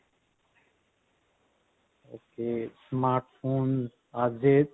okay smart phone ਅੱਜ ਦੇ